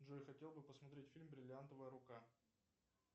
джой я хотел бы посмотреть фильм бриллиантовая рука